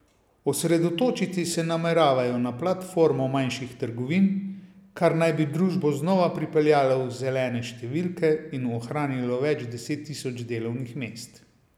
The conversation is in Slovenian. Osredotočiti se nameravajo na platformo manjših trgovin, kar naj bi družbo znova pripeljalo v zelene številke in ohranilo več deset tisoč delovnih mest.